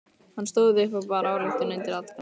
Hann stóð upp og bar ályktun undir atkvæði.